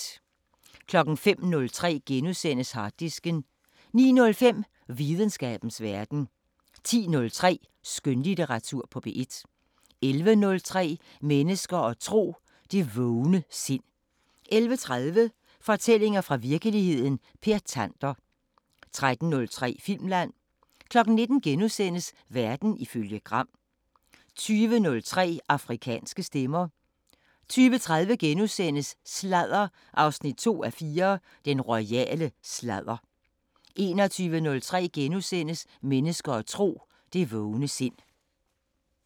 05:03: Harddisken * 09:05: Videnskabens Verden 10:03: Skønlitteratur på P1 11:03: Mennesker og tro: Det vågne sind 11:30: Fortællinger fra virkeligheden – Per Tander 13:03: Filmland 19:00: Verden ifølge Gram * 20:03: Afrikanske Stemmer 20:30: Sladder 2:4: Den royale sladder * 21:03: Mennesker og tro: Det vågne sind *